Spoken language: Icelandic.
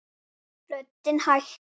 Talaði bjagaða ensku: